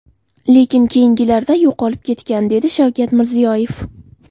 Lekin keyingilarida yo‘qolib ketgan”, dedi Shavkat Mirziyoyev.